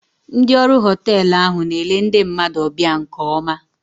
Ndị ọrụ họteelụ ahụ na-ele ndị mmadụ ọbịa nke oma